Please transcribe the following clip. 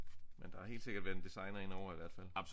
Men der har helt sikkert været en designer ind over i hvert fald